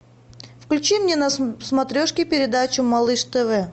включи мне на смотрешке передачу малыш тв